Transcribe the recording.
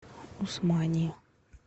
усмани